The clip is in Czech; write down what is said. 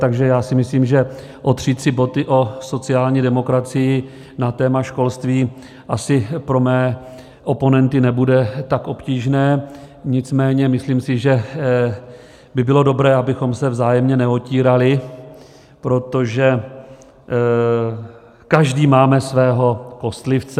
Takže já si myslím, že otřít si boty o sociální demokracii na téma školství asi pro mé oponenty nebude tak obtížné, nicméně myslím si, že by bylo dobré, abychom se vzájemně neotírali, protože každý máme svého kostlivce.